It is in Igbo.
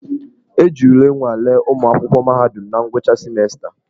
E ji ule nwalee ụmụ akwụkwọ mahadum na ngwụcha simensta.